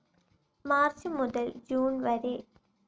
March മുതൽ June വരെ